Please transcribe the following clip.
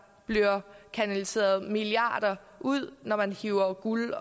bliver kanaliseret milliarder ud når man hiver guld